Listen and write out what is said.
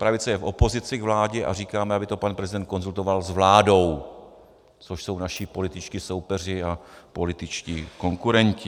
Pravice je v opozici k vládě a říkáme, aby to pan prezident konzultoval s vládou, což jsou naši političtí soupeři a političtí konkurenti.